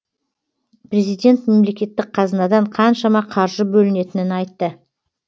президент мемлекеттік қазынадан қаншама қаржы бөлінетінін айтты